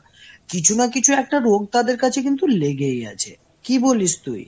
কিছু না কিছু একটা রোগ তাদের কাছে কিন্তু লেগেই আছে। কি বলিস তুই?